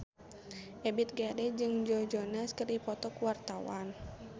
Ebith G. Ade jeung Joe Jonas keur dipoto ku wartawan